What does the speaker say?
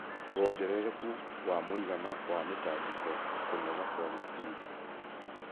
wongerereku wa mũigana wa mĩtangĩko na kũnoga kwa meciria.